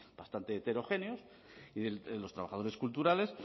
bastante heterogéneos y de los trabajadores culturales